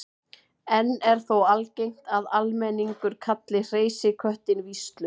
Enn er þó algengt að almenningur kalli hreysiköttinn víslu.